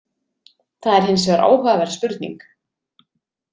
Það er hins vegar áhugaverð spurning.